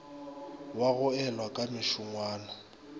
wa go elwa ka mešongwana